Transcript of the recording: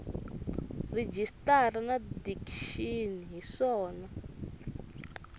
rejistara na dikixini hi swona